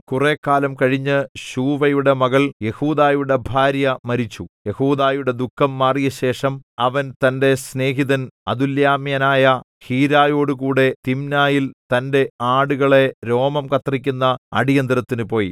കുറെ കാലം കഴിഞ്ഞ് ശൂവയുടെ മകൾ യെഹൂദായുടെ ഭാര്യ മരിച്ചു യെഹൂദായുടെ ദുഃഖം മാറിയശേഷം അവൻ തന്റെ സ്നേഹിതൻ അദുല്ലാമ്യനായ ഹീരയോടുകൂടെ തിമ്നായിൽ തന്റെ ആടുകളെ രോമം കത്രിക്കുന്ന അടിയന്തരത്തിനുപോയി